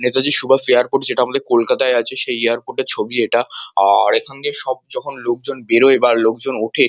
Netaji Subhash airport যেটা আমাদের কলকাতা য় আছে সেই এয়ারপোর্ট ছবি এটা আর এখান দিয়ে সব লোক যখন বেরোয় বা লোকজন ওঠে।